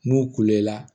N'u kulela